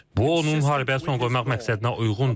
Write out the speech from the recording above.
Bu onun müharibəyə son qoymaq məqsədinə uyğundur.